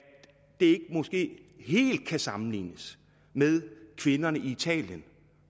det måske ikke helt kan sammenlignes med kvinderne i italien